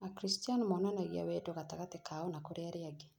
Akristiano monanagia wendo gatagatĩ kao na kũrĩ arĩa angĩ